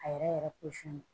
A yɛrɛ yɛrɛ